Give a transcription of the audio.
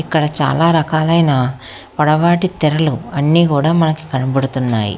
ఇక్కడ చాలా రకాలైన పొడవాటి తెరలు అన్నీ కూడా మనకి కనబడుతున్నాయి.